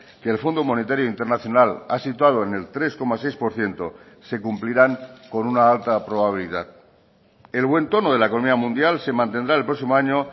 que el fondo monetario internacional ha situado en el tres coma seis por ciento se cumplirán con una alta probabilidad el buen tono de la economía mundial se mantendrá el próximo año